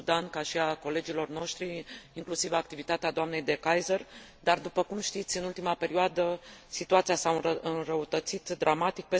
în Sudan, ca și a colegilor noștri, inclusiv activitatea dnei De Keyser, dar, după știți, în ultima perioadă, situația s a înrăutățit dramatic.